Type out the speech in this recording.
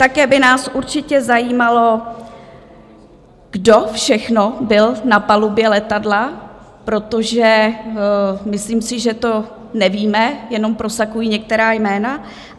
Také by nás určitě zajímalo, kdo všechno byl na palubě letadla, protože, myslím si, že to nevíme, jenom prosakují některá jména.